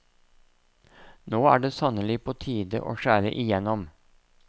Nå er det sannelig på tide å skjære igjennom.